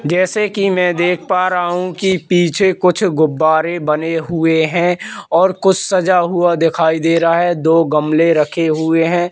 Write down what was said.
जैसे कि मैं देख पा रहा हूं कि पीछे कुछ गुब्बारे बने हुए हैं और कुछ सजा हुआ दिखाई दे रहा है दो गमले रखे हुए हैं।